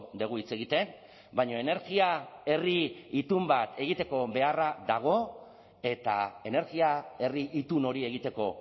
dugu hitz egiten baina energia herri itun bat egiteko beharra dago eta energia herri itun hori egiteko